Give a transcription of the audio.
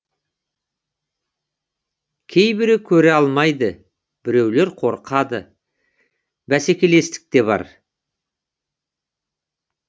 кейбірі көре алмайды біреулер қорқады бәсекелестік те бар